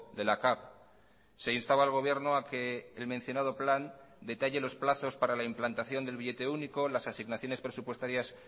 de la cav se instaba al gobierno a que el mencionado plan detalle los plazos para la implantación del billete único las asignaciones presupuestarias